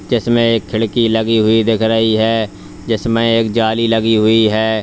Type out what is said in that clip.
जिसमें एक खिड़की लगी हुई दिख रही है जिसमें एक जाली लगी हुई है।